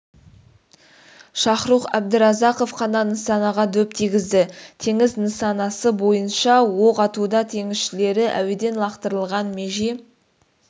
шахрух әбдіразақов қана нысанаға дөп тигізді теңіз нысанасы бойынша оқ атуда теңізшілері әуеден лақтырылған меже